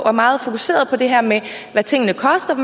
og meget fokuseret på det her med hvad tingene koster